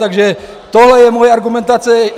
Takže tohle je moje argumentace.